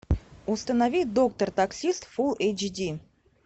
установи доктор таксист фул эйч ди